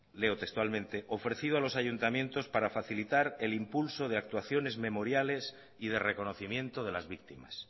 leo textualmente ofrecido a los ayuntamientos para facilitar el impulso de actuaciones memoriales y de reconocimiento de las víctimas